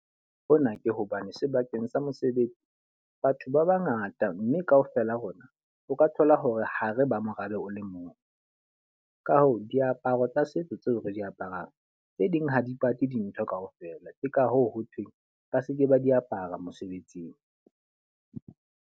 Hona ke hobane sebakeng sa mosebetsi, batho ba ba ngata mme ka ofela rona o ka thola hore ho re ba morabe o le mong. Ka hoo, diaparo tsa setso tseo re di aparang, tse ding ha dipate dintho ka ofela. Ke ka hoo ho thweng ba seke ba di apara mosebetsing.